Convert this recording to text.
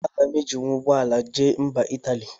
Aga m ejinwu ụgbọala jee mba Italy?